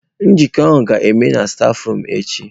Nzukọ a ga-eme stafurum echi.